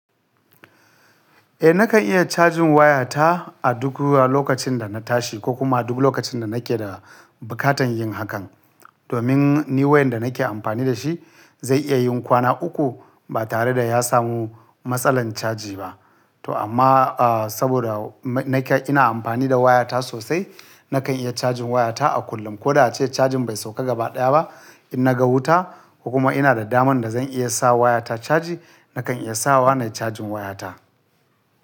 Eh nakan iya cajin waya ta a duk lokacin da na tashi ko kuma duk lokacin da nake da bukatan yin hakan. Domin ni wayar da nake amfani da shi zai iya yin kwana uku ba tare da ya samu matsalan caji ba. To amma, a saboda ina amfani da waya ta sosai, nakan iya cajin waya ta a kullum. Ko da ace cajin bai sauka gabaɗaya ba, in na ga wuta kuma ina da daman da zan iya sa waya ta caji, nakan iya sa wa ne cajin waya ta.